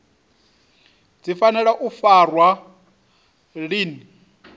dzi fanela u farwa lini